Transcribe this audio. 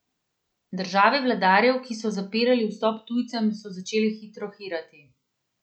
Države vladarjev, ki so zapirali vstop tujcem, so začele hitro hirati.